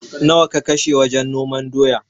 Nawa ka kashe wajen noman doya?